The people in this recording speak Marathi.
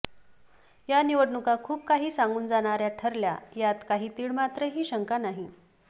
या निवडणुका खूप काही सांगून जाणाऱ्या ठरल्या यात काही तीळमात्र ही शंका नाही